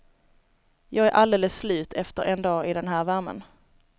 Jag är alldeles slut efter en dag i den här värmen.